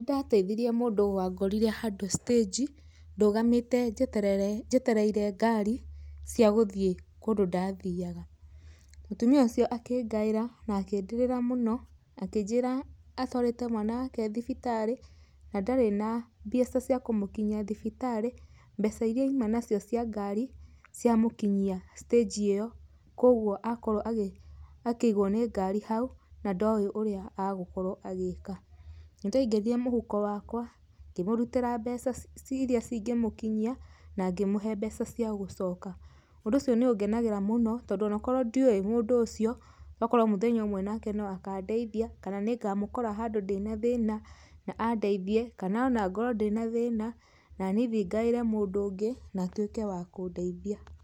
Nĩndateithirie mũndũ wangorire handũ stage, ndũgamĩte njeterere, njetereire ngari cia gũthiĩ kũndũ ndathiaga. Mũtumia ũcio akĩngaĩra na akĩndĩrĩra mũno akĩnjĩra atwarĩte mwana wake thibitarĩ na ndarĩ na mbeca cia kũmũkinyia thibitarĩ, mbeca ĩrĩa aima nacio cia ngari cĩamũkinyia stage ĩyo, kwogwo akorwo akĩigwo nĩ ngari hau na ndoi ũrĩa agwĩka. Nĩndaingĩrire mũhuko wakwa, ngĩmũrutĩra mbeca iria cĩngĩmũkinyia na ngĩmũhe mbeca cia gũcoka. Ũndũ ũcio nĩ ũngenagĩra mũno tondũ onokorwo ndioĩ mũndũ ũcio, tokorwo mũthenya ũmwe onake no akandeithia, kana nĩngamũkora handũ ndĩna thĩna na andeithie, kana ona ngorwo ndĩna thĩna, nani thiĩ ngaĩre mũndũ ũngĩ na atuĩke wa kũndeithia.